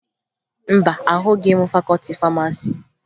Mba, ahụghị m fakọọti famasi